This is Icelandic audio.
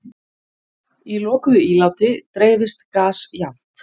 Í lokuðu íláti dreifist gas jafnt.